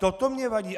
Toto mně vadí.